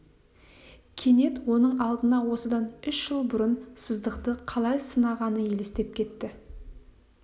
кенет оның алдына осыдан үш жыл бұрын сыздықты қалай сынағаны елестеп кетті